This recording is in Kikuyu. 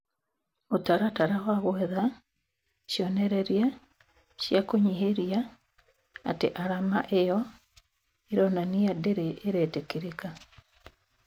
Mũtaratara wa gwetha cionereria cia kuhinyĩrĩria atĩ arama ĩyo ĩronania ndĩrĩ ĩretĩkĩrĩka